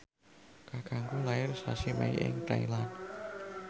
kakangku lair sasi Mei ing Thailand